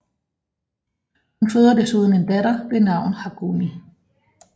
Hun føder desuden en datter ved navn Hagumi